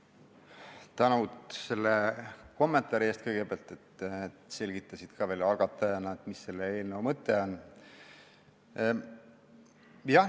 Suur tänu selle kommentaari eest, et selgitasid algatajana, mis selle eelnõu mõte on.